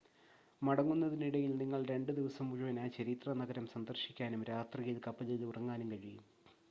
മടങ്ങുന്നതിന് ഇടയിൽ നിങ്ങൾക്ക് രണ്ട് ദിവസം മുഴുവൻ ആ ചരിത്ര നഗരം സന്ദർശിക്കാനും രാത്രിയിൽ കപ്പലിൽ ഉറങ്ങാനും കഴിയും